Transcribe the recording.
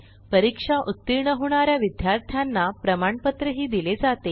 परीक्षा उत्तीर्ण होणा या विद्यार्थ्यांना प्रमाणपत्रही दिले जाते